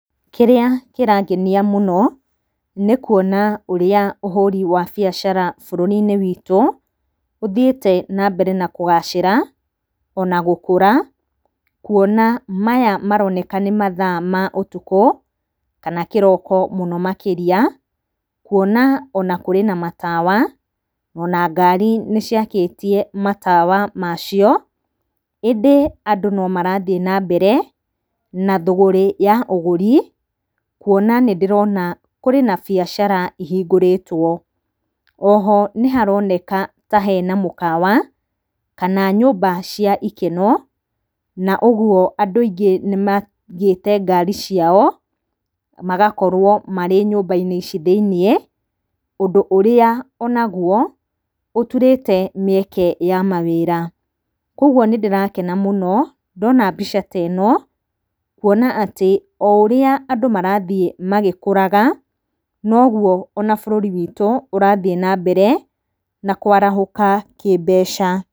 Kĩrĩa kĩrangenia mũno nĩ kuona ũrĩa ũhũri wa biacara bũrũri-inĩ witũ ũthiĩte na mbere na kũgacĩra ona gũkũra. Kuona maya maroneka nĩ mathaa ma ũtukũ kana kĩroko mũno makĩria kuona ona kũrĩ matawa ona ngari nĩciakĩtie matawa macio. ĩndĩ andũ no marathiĩ na mbere na thũgũrĩ ya ũgũri kuona nĩndĩrona kũrĩ na biacara ihingũrĩtwo. Oho nĩharoneka ta harĩ na mũkawa kana nyũmba cia ikeno na ũguo andũ aingĩ nĩmaigĩte ngari ciao magakorwo marĩ nyũmba-inĩ ici thĩinĩ, ũndũ ũrĩa onaguo ũturĩte mĩeke ya mawĩra. Koguo nĩndĩrakena mũno ndona mbica ta ĩno kuona atĩ o ũrĩa andũ marathiĩ magĩkũraga noguo ona bũrũri witũ ũrathiĩ na mbere na kwarahũka kĩmbeca.